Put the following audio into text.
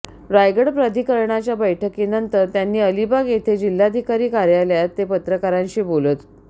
रायगड प्राधिकरणाच्या बैठकीनंतर त्यांनी अलिबाग येथे जिल्हाधिकारी कार्यालयात ते पत्रकारांशी बोलत